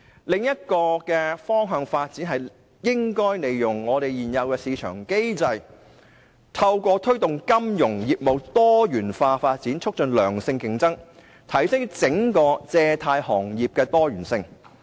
另一個發展方向，是應該利用現有的市場機制，透過推動金融業務多元化發展，促進良性競爭，提高整個借貸行業的多元性。